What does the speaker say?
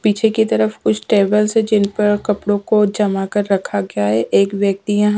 पीछे की तरफ कुछ टेबल्स है जिन पर कपड़ों को जमा कर रखा गया है एक व्यक्ति हैं।